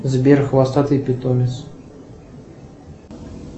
сбер хвостатый питомец